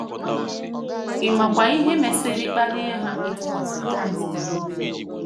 Ị makwa ihe mesịrị kpalie ha ịtụkwasị Kraịst obi?